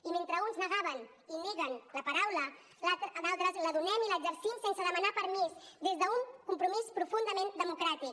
i mentre uns negaven i neguen la paraula d’altres la donem i l’exercim sense demanar permís des d’un compromís profundament democràtic